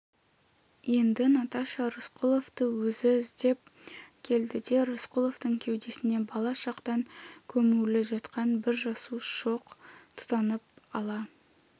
енді наташа рысқұловты өзі іздеп келді де рысқұловтың кеудесінде бала шақтан көмулі жатқан бір жасу шоқ тұтанып ала